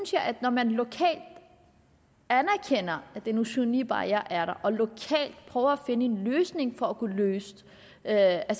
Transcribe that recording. når man lokalt anerkender at den usynlige barriere er der og lokalt prøver at finde en løsning for at at